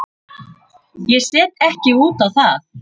Ég set ekki út á það.